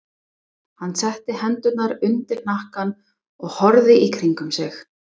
Hann setti hendurnar undir hnakkann og horfði í kringum sig.